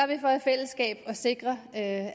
vi for i fællesskab at sikre at